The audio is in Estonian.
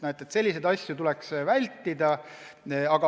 Selliseid asju tuleks vältida, aga praegu tuleb neid ette.